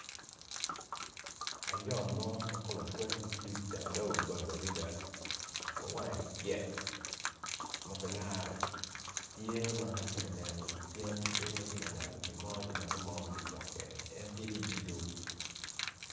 Ayom ma kome col licuc dok doge obap tye ka neno ngat mo dok en tye ki i lum